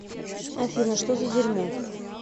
афина что за дерьмо